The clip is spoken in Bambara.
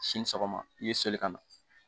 Sini sɔgɔma i bɛ seli ka na